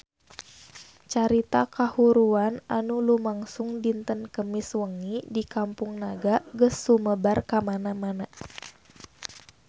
Carita kahuruan anu lumangsung dinten Kemis wengi di Kampung Naga geus sumebar kamana-mana